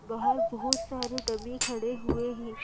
बाहर बहोत सारे डमी खड़े हुए हैं।